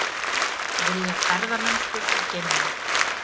Vilja ferðamennsku í geimnum